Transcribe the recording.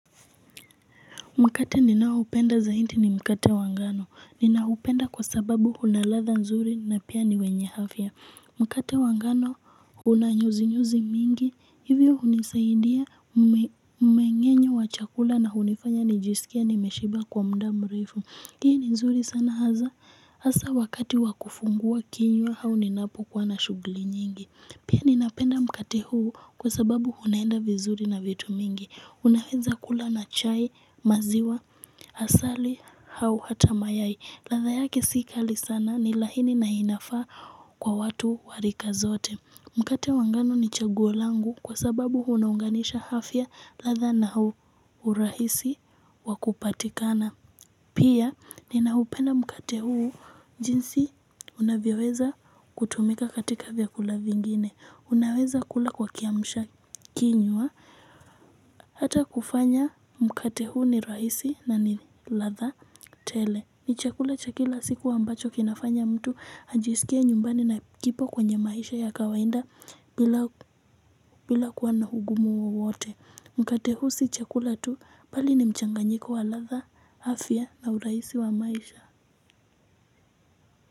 Mkate ninaopenda zaidi ni mkate wa ngano. Ninaupenda kwa sababu una ladha nzuri na pia ni wenye afya. Mkate wa ngano una nyuzinyuzi mingi. Hivyo hunisaidia mmeng'enyo wa chakula na hunifanya nijisikie nimeshiba kwa muda mrefu. Hii ni nzuri sana hasa. Hasa wakati wa kufungua kinywa au ninapokuwa na shughuli nyingi. Pia ninapenda mkate huu kwa sababu unaenda vizuri na vitu mingi. Unaweza kula na chai, maziwa, asali, au hata mayai. Ladha yake si kali sana ni laini na inafaa kwa watu wa rika zote. Mkate wa ngano ni chaguo langu kwa sababu unaunganisha afya ladha na urahisi wa kupatikana. Pia ninaupenda mkate huu jinsi unavyoweza kutumika katika vyakula vingine. Unaweza kula kwa kiamshakinywa hata kufanya mkate huu ni rahisi na ni ladha tele. Ni chakula cha kila siku ambacho kinafanya mtu ajisikie nyumbani na kipo kwenye maisha ya kawaida bila kuwa na ugumu wowote. Mkate huu si chakula tu bali ni mchanganyiko wa ladha, afya na urahisi wa maisha.